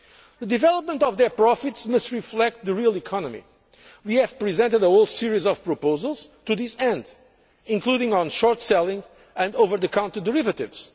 The development of their profits must reflect the real economy. We have presented a whole series of proposals to this end, including those on short selling and over the counter derivatives.